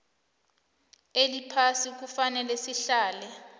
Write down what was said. eliphasi kufanele sihlale